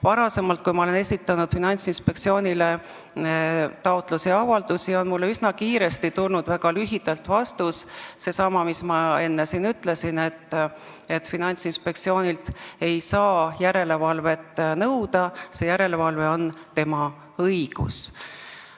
Varem, kui ma olen esitanud Finantsinspektsioonile taotlusi ja avaldusi, on mulle üsna kiiresti tulnud väga lühike vastus, seesama, mida ma enne siin mainisin, et Finantsinspektsioonilt ei saa järelevalvet nõuda, see järelevalve on tema õigus.